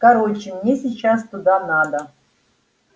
короче мне сейчас туда надо